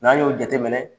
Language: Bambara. N'an y'o jateminɛ